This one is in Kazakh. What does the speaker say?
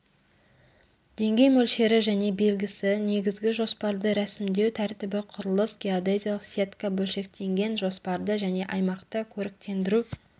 деңгей мөлшері және белгісі негізгі жоспарды рәсімдеу тәртібі құрылыс геодезиялық сетка бөлшектенген жоспарды және аймақты көріктендіру